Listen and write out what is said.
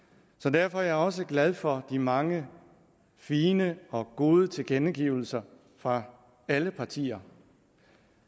derfor er jeg også glad for de mange fine og gode tilkendegivelser fra alle partier